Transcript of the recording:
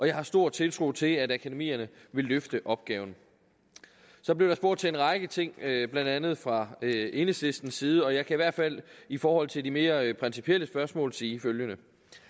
jeg har stor tiltro til at akademierne vil løfte opgaven så blev der spurgt til en række ting blandt andet fra enhedslistens side og jeg kan i hvert fald i forhold til de mere principielle spørgsmål sige følgende